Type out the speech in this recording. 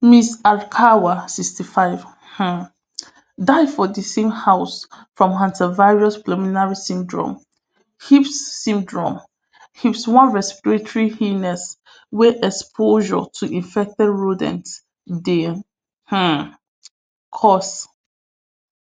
miss alkawa sixty-five um die for di same house from hantavirus pulmonary syndrome hips syndrome hips one respiratory illness wey exposure to infected rodents dey um cause